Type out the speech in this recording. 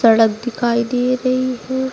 सड़क दिखाई दे रही है।